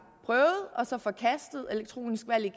prøvet og så forkastet elektronisk valg